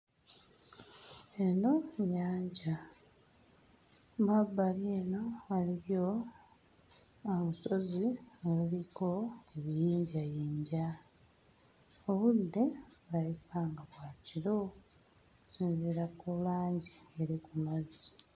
Eno nnyanja, mu mabbali eno waliyo olusozi oluliko ebiyinjayinja. Obudde bulabika nga bwa kiro okusinziira ku langi eri ku mazzi.